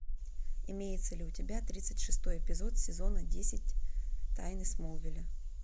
имеется ли у тебя тридцать шестой эпизод сезона десять тайны смолвиля